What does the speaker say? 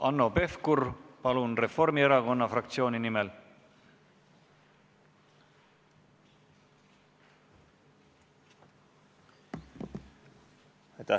Hanno Pevkur, palun, Reformierakonna fraktsiooni nimel!